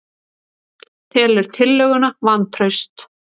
Telur tillöguna vantraust